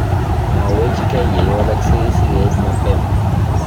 Mwawechkei ye iwalaksei sikeit mapema